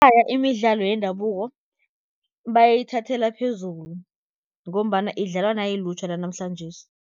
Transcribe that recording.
imidlalo yendabuko bayithathela phezulu, ngombana idlalwa nayilutjha lanamhlanjesi.